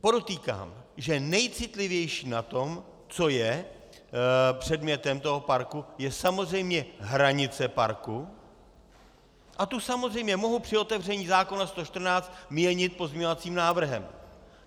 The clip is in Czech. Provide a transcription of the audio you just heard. Podotýkám, že nejcitlivější na tom, co je předmětem toho parku, je samozřejmě hranice parku a tu samozřejmě mohu při otevření zákona 114 měnit pozměňovacím návrhem.